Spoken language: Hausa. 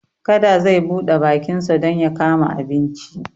Kada zai buɗe bakinsa don ya kama abinci.